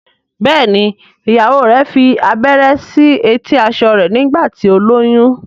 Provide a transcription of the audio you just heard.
Béèni ìyàwó rẹ fí abẹrẹ sí eti aṣọ rẹ nígbà tí o lóyún.